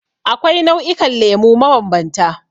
Akwai nau'ikan lemu mabambanta.